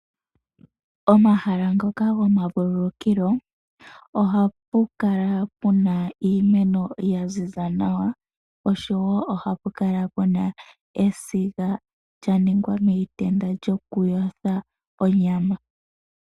Omahala ngoka gomavulukilo ohapu kala puna iimeno ya ziza nawa oshowo ohapu kala puna esiga lya ningwa miitenda lyokuyotha onyama